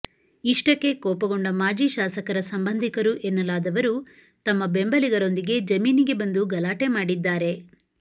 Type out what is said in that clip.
ಇಷ್ಟಕ್ಕೆ ಕೋಪಗೊಂಡ ಮಾಜಿ ಶಾಸಕರ ಸಂಬಂಧಿಕರು ಎನ್ನಲಾದವರು ತಮ್ಮ ಬೆಂಬಲಿಗರೊಂದಿಗೆ ಜಮೀನಿಗೆ ಬಂದು ಗಲಾಟೆ ಮಾಡಿದ್ದಾರೆ